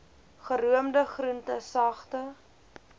geroomde groente sagte